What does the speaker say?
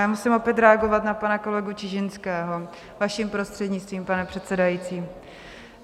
A musím opět reagovat na pana kolegu Čižinského, vaším prostřednictvím, pane předsedající.